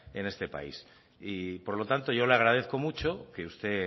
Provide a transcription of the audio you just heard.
en este país por lo tanto yo le agradezco mucho que usted